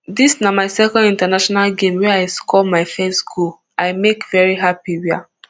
dis na my second international game wey i score my first goal i make very happy wia